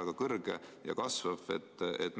väga kõrge ja kasvab.